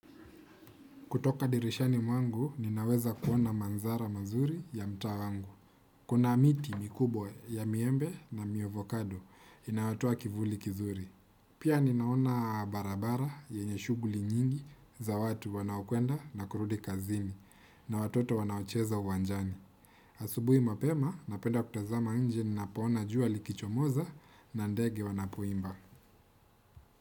Kutoka dirishani mwangu, ninaweza kuona manzara mazuri ya mtaa wangu. Kuna miti mikubwa ya miembe na miovakado inayotoa kivuli kizuri. Pia ninaona barabara yenye shuguli nyingi za watu wanaokwenda na kurudi kazini na watoto wanaocheza uwanjani. Asubuhi mapema, napenda kutazama nje ninapaona juali kichomoza na ndege wanapoimba.